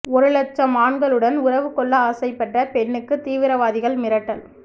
ஒரு இலட்சம் ஆண்களுடன் உறவு கொள்ள ஆசைப்பட்ட பெண்ணுக்கு தீவிரவாதிகள் மிரட்டல்